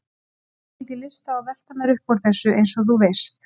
Ég hafði ekki lyst á að velta mér upp úr þessu, eins og þú veist.